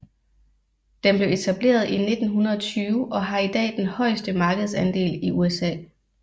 Den blev etableret i 1920 og har i dag den højeste markedsandel i USA